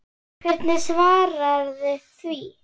Hvernig svararðu því?